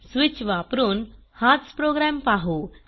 switch वापरून हाच programme पाहू